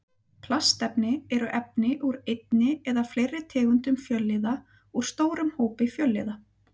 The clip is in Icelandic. Plastefni eru efni úr einni eða fleiri tegundum fjölliða úr stórum hópi fjölliða.